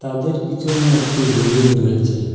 ওদের পিছনে একটি বিল্ডিং রয়েছে।